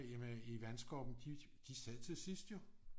I vandskorpen de sad til sidst jo